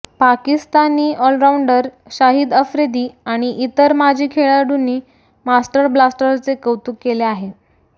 Pakistani allrounder Shahid Afridi आणि इतर माजी खेळांडूनी मास्टर ब्लास्टरचे कौतुक केले आहे